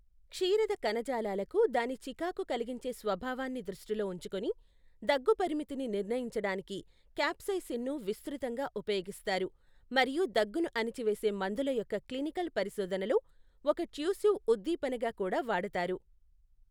క్షీరద కణజాలాలకు దాని చికాకు కలిగించే స్వభావాన్ని దృష్టిలో ఉంచుకుని, దగ్గు పరిమితిని నిర్ణయించడానికి క్యాప్సైసిన్ను విస్తృతంగా ఉపయోగిస్తారు, మరియు దగ్గును అణిచివేసే మందుల యొక్క క్లినికల్ పరిశోధనలో ఒక ట్యూసివ్ ఉద్దీపనగా కూడా వాడతారు.